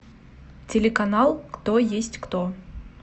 телеканал кто есть кто